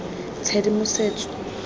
tshedimosetso